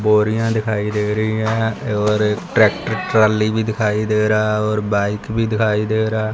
बोरियां दिखाई दे रही हैं और एक ट्रैक्टर ट्राली भी दिखाई दे रहा है और बाइक भी दिखाई दे रहा --